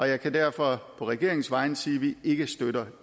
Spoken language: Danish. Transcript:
jeg kan derfor på regeringens vegne sige at vi ikke støtter